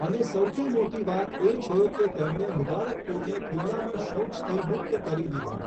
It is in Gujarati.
અને સૌથી મોટી વાત એ છે કે તેમણે મુબારકપુરને ખુલ્લામાં શૌચથી મુક્ત કરી દીધું.